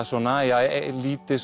svona lítið